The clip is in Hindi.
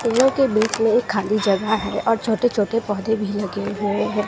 फूलों के बीच में ये खाली जगह है और छोटे छोटे पौधे भी लगे हुए हैं।